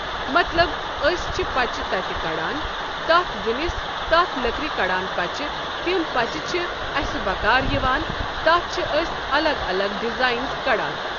مطلب أسۍ چھِ پچہِ تتہِ کڑان تتھ زِنِس تتھ لکرِ کڑان پچہِ تِم پچہِ چھِ اسہِ بکار یِوان تتھ چھِ أسۍ الگ الگ ڈزاینٕز کڑان۔